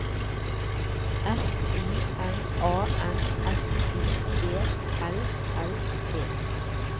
F I N A N S I E L L E